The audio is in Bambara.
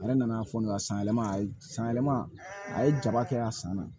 A yɛrɛ nana fɔ ne ka san yɛlɛma a san yɛlɛma a ye jaba kɛ a san na